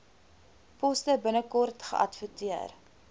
poste binnekort geadverteer